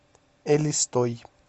элистой